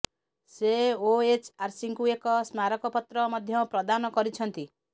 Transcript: ସେ ଓଏଚ୍ଆର୍ସିଙ୍କୁ ଏକ ସ୍ମାରକ ପତ୍ର ମଧ୍ୟ ପ୍ରଦାନ କରିଛନ୍ତି